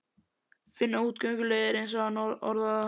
Finna útgönguleiðir, eins og hann orðar það.